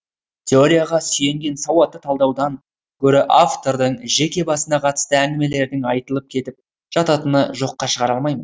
теорияға сүйенген сауатты талдаудан гөрі автордың жеке басына қатысты әңгімелердің айтылып кетіп жататыны жоққа шығара алмаймын